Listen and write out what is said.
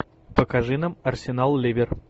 покажи нам арсенал ливер